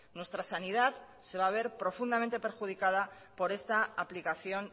nuestra sanidad se va a ver profundamente perjudicada por esta aplicación